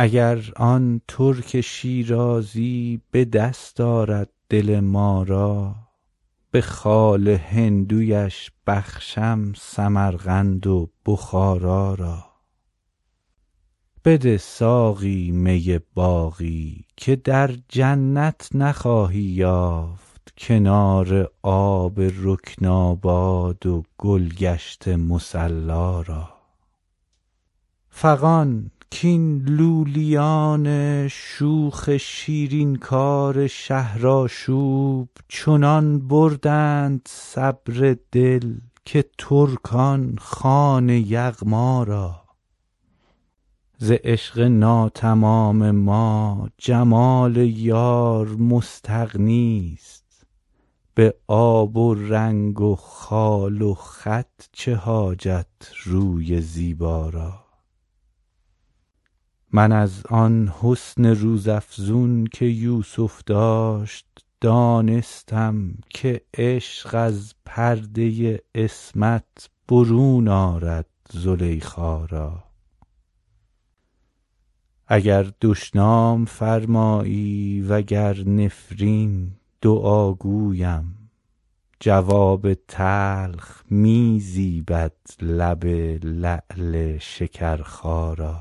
اگر آن ترک شیرازی به دست آرد دل ما را به خال هندویش بخشم سمرقند و بخارا را بده ساقی می باقی که در جنت نخواهی یافت کنار آب رکناباد و گل گشت مصلا را فغان کاین لولیان شوخ شیرین کار شهرآشوب چنان بردند صبر از دل که ترکان خوان یغما را ز عشق ناتمام ما جمال یار مستغنی است به آب و رنگ و خال و خط چه حاجت روی زیبا را من از آن حسن روزافزون که یوسف داشت دانستم که عشق از پرده عصمت برون آرد زلیخا را اگر دشنام فرمایی و گر نفرین دعا گویم جواب تلخ می زیبد لب لعل شکرخا را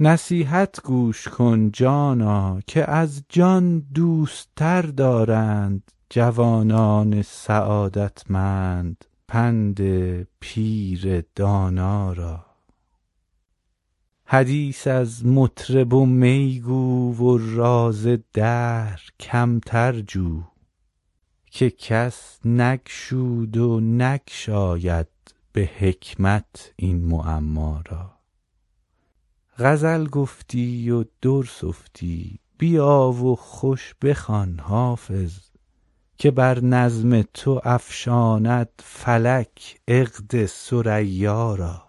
نصیحت گوش کن جانا که از جان دوست تر دارند جوانان سعادتمند پند پیر دانا را حدیث از مطرب و می گو و راز دهر کمتر جو که کس نگشود و نگشاید به حکمت این معما را غزل گفتی و در سفتی بیا و خوش بخوان حافظ که بر نظم تو افشاند فلک عقد ثریا را